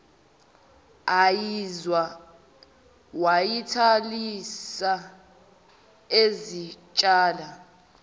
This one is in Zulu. ayizwa wayithalalisa ezitshela